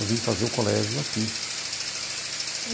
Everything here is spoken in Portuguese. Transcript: Eu vim fazer o colégio aqui.